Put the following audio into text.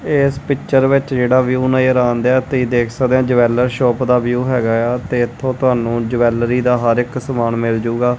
ਇਸ ਪਿੱਚਰ ਵਿੱਚ ਜਿਹੜਾ ਵਿਊ ਨਜ਼ਰ ਆਂਦਿਆ ਤੁਹੀ ਦੇਖ ਸਕਦੇ ਆ ਜਵੈਲਰ ਸ਼ੌਪ ਦਾ ਵਿਊ ਹੈਗਾ ਆ ਤੇ ਇੱਥੋਂ ਤੁਹਾਨੂੰ ਜਵੈਲਰੀ ਦਾ ਹਰ ਇੱਕ ਸਮਾਨ ਮਿਲਜੂਗਾ।